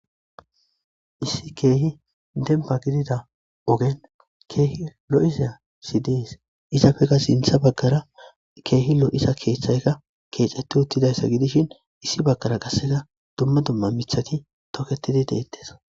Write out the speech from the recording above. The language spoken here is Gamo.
Issi keehi dempa gidida ogen keehi lo'isasi dees izafeka sintha baggara keehi lo'isa keeththayka keexeti uttidayssa gidishin issi baggara qasseka dumma dumma mithati toketidi deettes